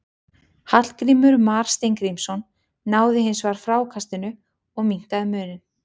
Hallgrímur Mar Steingrímsson náði hins vegar frákastinu og minnkaði muninn.